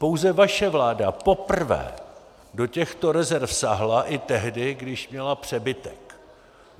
Pouze vaše vláda poprvé do těchto rezerv sáhla i tehdy, když měla přebytek.